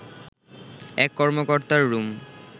এক কর্মকর্তার রুম